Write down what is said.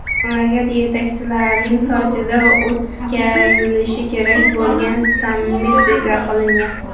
Mamlakat yetakchilarining Sochida o‘tkazilishi kerak bo‘lgan sammiti bekor qilingan.